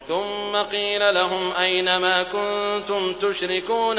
ثُمَّ قِيلَ لَهُمْ أَيْنَ مَا كُنتُمْ تُشْرِكُونَ